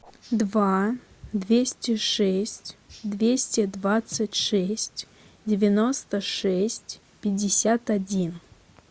два двести шесть двести двадцать шесть девяносто шесть пятьдесят один